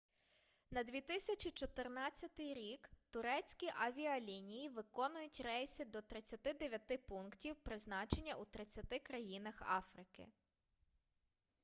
на 2014 рік турецькі авіалінії виконують рейси до 39 пунктів призначення у 30 країнах африки